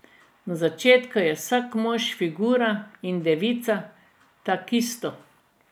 Na začetku je vsak mož figura in devica takisto.